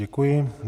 Děkuji.